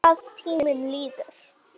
Hvað tíminn líður!